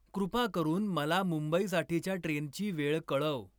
कृपा करून मला मुंबईसाठीच्या ट्रेनची वेळ कळव.